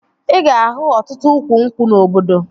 Ị ga-ahụ ọtụtụ ukwu nkwụ na obodo